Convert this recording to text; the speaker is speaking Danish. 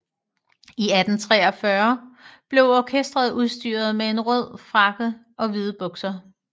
I 1843 blev orkesteret udstyret med en røde frakker og hvide bukser